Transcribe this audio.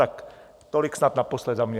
Tak tolik snad naposled za mě.